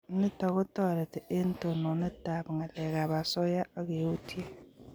Nitok ko tareti eng' tononet ab ng'alek ab asoya akeutye